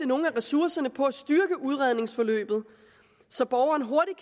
nogle af ressourcerne på at styrke udredningsforløbet så borgeren hurtigt